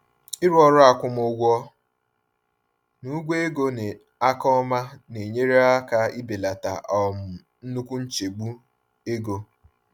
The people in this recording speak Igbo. Ịrụ ọrụ akwụmụgwọ na ụgwọ ego n’aka ọma na-enyere aka ibelata um nnukwu nchegbu ego.